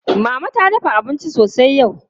Mama ta dafa abinci sosai yau.